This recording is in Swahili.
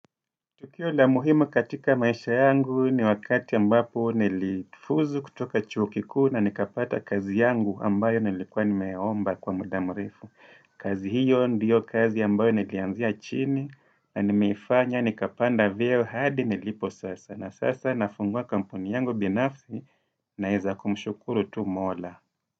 Tukio la muhimu katika maisha yangu ni wakati ambapo nilifuzu kutoka chuo kikuu na nikapata kazi yangu ambayo nilikuwa nimeomba kwa muda mrefu. Kazi hiyo ndiyo kazi ambayo nilianzia chini na nimeifanya nikapanda vyeo hadi nilipo sasa. Na sasa nafungua kampuni yangu binafsi naeza kumshukuru tu mola.